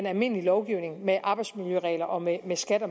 almindelige lovgivning med arbejdsmiljøregler og med skatte